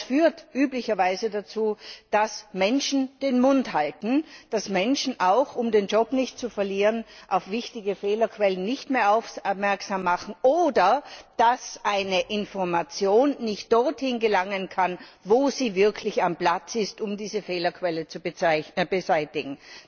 Das führt üblicherweise dazu, dass Menschen den Mund halten, dass Menschen auch, um den Job nicht zu verlieren, auf wichtige Fehlerquellen nicht mehr aufmerksam machen, oder dass eine Information nicht dorthin gelangen kann, wo sie wirklich am Platz ist, um diese Fehlerquelle zu beseitigen.